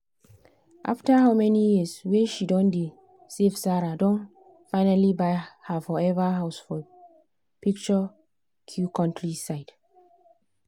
after how many years wey she don dey savesarah don finally buy her forever house for picturesque countryside.